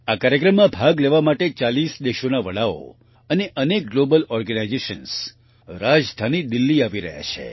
આ કાર્યક્રમમાં ભાગ લેવા માટે 40 દેશોના વડાઓ અને અનેક ગ્લોબલ ઓર્ગેનાઇઝેશન્સ રાજધાની દિલ્હી આવી રહ્યા છે